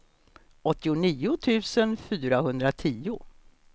åttionio tusen fyrahundratio